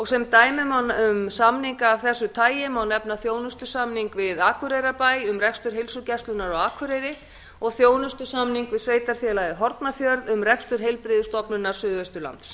sem dæmi um samninga af þessu tagi má nefna þjónustusamning við akureyrarbæ um rekstur heilsugæslunnar á akureyri og þjónustusamning við sveitarfélagið hornafjörð um rekstur heilbrigðisstofnunar suðausturlands